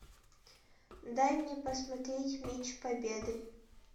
дай мне посмотреть меч победы